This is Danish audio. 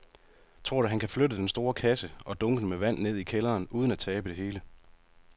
Tror du, at han kan flytte den store kasse og dunkene med vand ned i kælderen uden at tabe det hele?